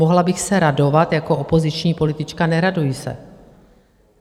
Mohla bych se radovat jako opoziční politička, neraduji se.